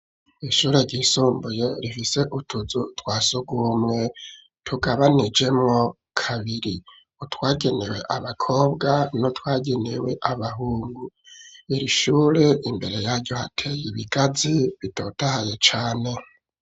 Ishure ryisumbuye rifise utuzu twa sugumwe tugabanijemwo kabiri : utwagenewe abakobwa n'utwagenewe abahungu. Iri shure imbere yaryo hateye ibigazi bitotahaye cane.